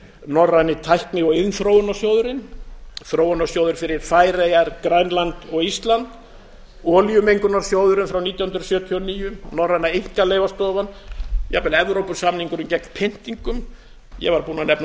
norræni tækni og iðnþróunarsjóðurinn þróunarsjóður fyrir færeyjar grænland og ísland olíumengunarsjóðurinn frá nítján hundruð sjötíu og níu norræna einkaleyfastofan jafnvel evrópusamningurinn gegn pyntingum ég var búinn að nefna e e